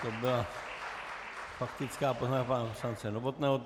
To byla faktická poznámka pana poslance Novotného.